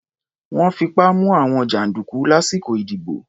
Wọ́n fipá mú àwọn jàǹdùkú lásìkò ìdìbò.